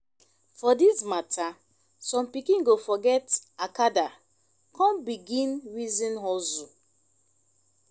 for dis mata som pikin go forget acada kon begin reason hustle